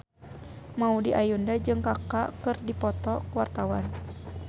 Maudy Ayunda jeung Kaka keur dipoto ku wartawan